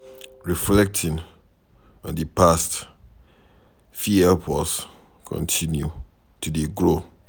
Reflecting on di past fit help us continue to dey grow